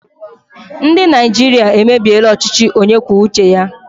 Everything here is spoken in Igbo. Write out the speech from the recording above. Ndị Naịjirịa emebiela ọchịchị onye kwuo uche ya.